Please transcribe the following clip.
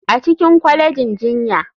A cikin kwalejin jinya.